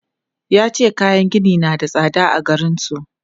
Ya ce kayan gini na da tsada a garin su.